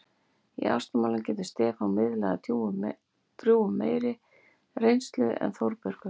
Í ástamálum getur Stefán miðlað af drjúgum meiri reynslu en Þórbergur.